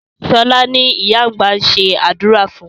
Sọlá ni ìyá àgbà ń ṣe àdúrà fún